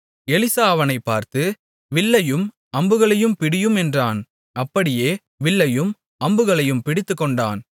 Elisha அவனைப் பார்த்து வில்லையும் அம்புகளையும் பிடியும் என்றான் அப்படியே வில்லையும் அம்புகளையும் பிடித்துக்கொண்டான்